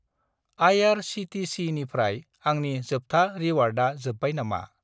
आइ.आर.चि.टि.चि.निफ्राय आंनि जोबथा रिवार्डआ जोब्बाय नामा?